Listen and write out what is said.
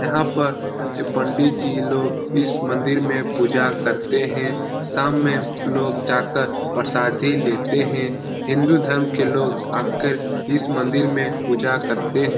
यहाँ पर ये पंडित जी लोग इस मंदिर में पूजा करते हैं शाम में लोग जाकर प्रसादी लेते हैं हिन्दू धर्म के लोग आकर इस मंदिर में पूजा करते हैं ।